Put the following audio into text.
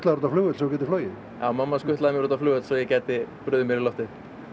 út á flugvöll svo þú gætir flogið já mamma skutlaði mér út á flugvöll svo ég gæti brugðið mér í loftið